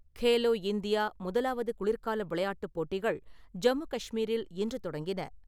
Khelo India முதலாவது குளிர்கால விளையாட்டுப் போட்டிகள் ஜம்மு கஷ்மீரில் இன்று தொடங்கின.